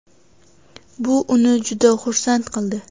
Bu uni juda xursand qildi.